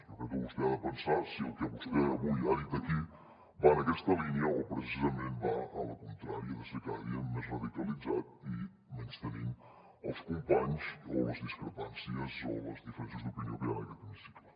jo crec que vostè ha de pensar si el que vostè avui ha dit aquí va en aquesta línia o precisament va en la contrària de ser cada dia més radicalitzat i menystenint els companys o les discrepàncies o les diferències d’opinió que hi ha en aquest hemicicle